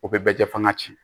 O bɛ bɛɛ jɛ fo ka ci